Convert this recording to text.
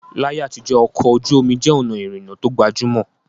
Láyé àtijọ́, ọkọ̀ ojú omi jẹ́ ọ̀nà ìrìnnà tó gbajúmọ̀